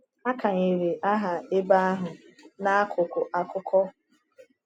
A kanyere aha ebe ahụ n’akụkụ akuku.